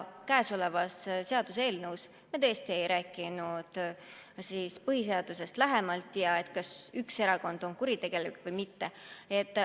Selle seaduseelnõuga seoses me tõesti ei rääkinud põhiseadusest lähemalt ja sellest, kas üks erakond on kuritegelik või mitte.